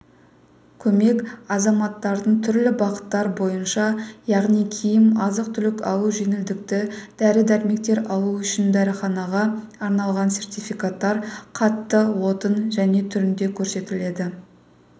көмек азаматтардың түрлі бағыттар бойынша яғни киім азық-түлік алу жеңілдікті дәрі-дәрмектер алу үшін дәріханаға арналған сертификаттар қатты отын және түрінде көрсетіледі